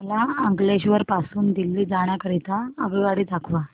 मला अंकलेश्वर पासून दिल्ली जाण्या करीता आगगाडी दाखवा